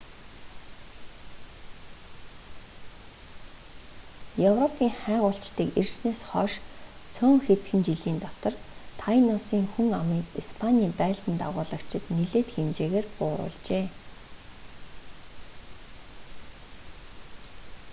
европын хайгуулчдыг ирснээс хойш цөөн хэдхэн жилийн дотор тайносын хүн амыг испанийн байлдан дагуулагчид нэлээд хэмжээгээр бууруулжээ